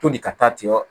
Toli ka taa tigɛ